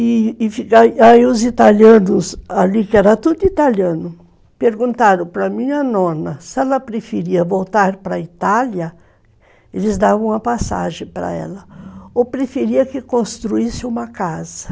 E aí os italianos ali, que era tudo italiano, perguntaram para a minha nona se ela preferia voltar para a Itália, eles davam uma passagem para ela, ou preferia que construísse uma casa.